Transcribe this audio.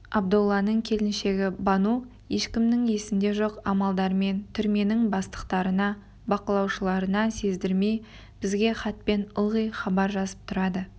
абдолланың келіншегі бану ешкімнің есінде жоқ амалдармен түрменің бастықтарына бақылаушыларына сездірмей бізге хатпен ылғи хабар жазып тұрады